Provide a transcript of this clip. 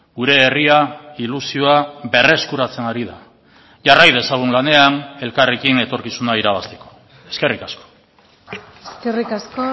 gure herria ilusioa berreskuratzen ari da jarrai dezagun lanean elkarrekin etorkizuna irabazteko eskerrik asko eskerrik asko